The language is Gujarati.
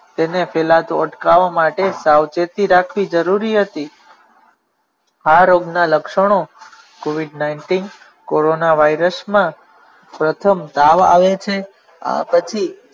તેને પહેલા તો અટકાવવા માટે સાવચેતી રાખવી જરૂરી હતી આ રોગના લક્ષણો covid nineteen કોરોનાવાયરસમાં પ્રથમ તાવ આવે છે આ પછી